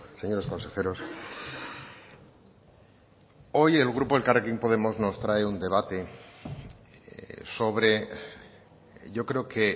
señores consejeros hoy el grupo elkarrekin podemos nos trae un debate sobre yo creo que